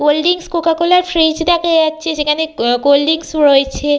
Clot drinks কোকাকোলার fridge দেখা যাচ্ছে। সেখানে আহ কোল্ড ড্রিঙ্কস -ও রয়েছে।